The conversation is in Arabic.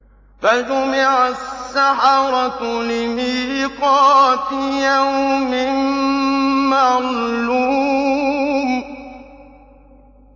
فَجُمِعَ السَّحَرَةُ لِمِيقَاتِ يَوْمٍ مَّعْلُومٍ